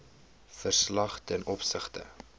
verslag ten opsigte